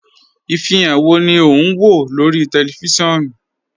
Ifihan wọ́ ni o n wọ lórí tẹlifísiọnu?